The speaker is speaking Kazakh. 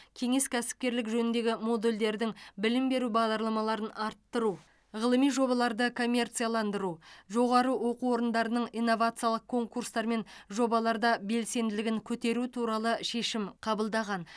кеңес кәсіпкерлік жөніндегі модульдердің білім беру бағдарламаларын арттыру ғылыми жобаларды коммерцияландыру жоғары оқы орындарының инновациялық конкурстар мен жобаларда белсенділігін көтеру туралы шешім қабылдаған